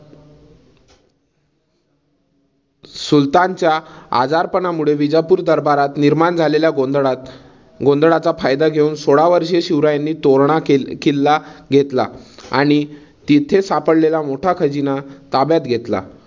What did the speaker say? सुलतानच्या आजारपणामुळे विजापूर दरबारात निर्माण झालेल्या गोंधळात गोंधळाचा फायदा घेऊन. सोळावर्षीय शिवरायांनी तोरणा किल्ला घेतला आणि तिथे सापडलेला मोठा खजिना ताब्यात घेतला.